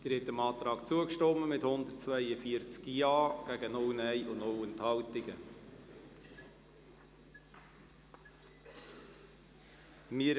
Sie haben dem Antrag mit 142 Ja- gegen 0 Nein-Stimmen bei 0 Enthaltungen zugestimmt.